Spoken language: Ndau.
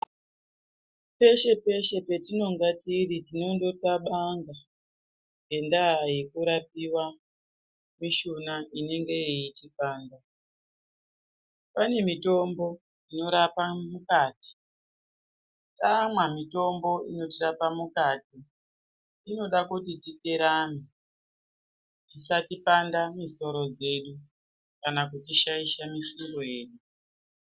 Peshe peshe patinenge tiri tinongoxabanga ngenyaa yekurapiwe mushuna yedu inenge ichipanda pane .itombo inotirapa mukati taamwe mitombo inotirapa mukati inoda kuti titerane isati paradza misoro yesu kana kutishaisha mifungo yedu.